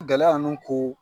Gɛlɛya nu koo